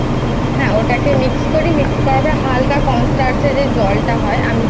হ্যাঁ ওটাকে করি করার পরে হালকা Cornstarch যে জলটা যেটা হয়